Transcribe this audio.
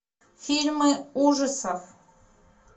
фильмы ужасов